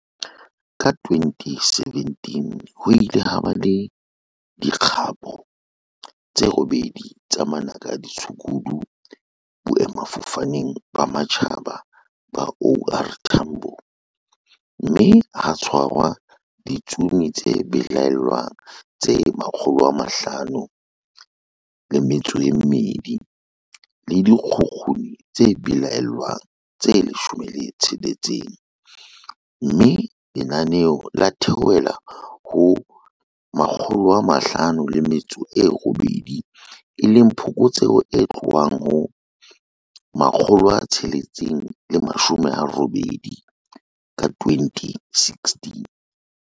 Ka 2017 ho ile ha ba le di kgapo tse robedi tsa manaka a ditshukudu Boemafofaneng ba Matjhaba ba OR Tambo, mme ha tshwarwa ditsomi tse belaellwang tse 502 le dikgukguni tse belaellwang tse 16, mme lenane la theohela ho 518, e leng phokotseho e tlohang ho 680 ka 2016.